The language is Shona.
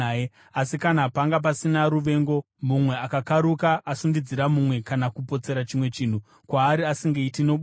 “ ‘Asi kana panga pasina ruvengo mumwe akakaruka asundidzira mumwe kana kupotsera chimwe chinhu kwaari asingaiti nobwoni,